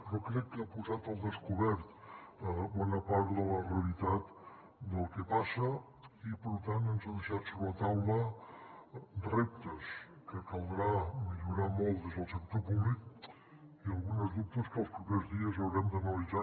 però crec que ha posat al descobert bona part de la realitat del que passa i per tant ens ha deixat sobre la taula reptes que caldrà millorar molt des del sector públic i alguns dubtes que els propers dies haurem d’analitzar